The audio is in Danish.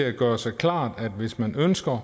at gøre sig klart at hvis man ønsker